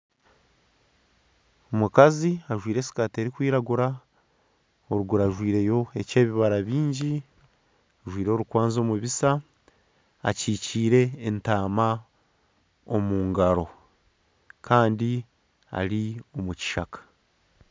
Omukazi ajwire esikati erikwiragura, oruguru ajwiryo ekyebibara bingi. Ajwire orukwanzi omu bisya, akikiire entaama omu ngaro kandi ari omukishaka.